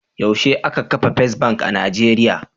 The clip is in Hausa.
Yaushe aka kafa Fes Bank a Nijeriya.